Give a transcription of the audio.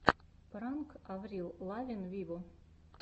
пранк аврил лавин виво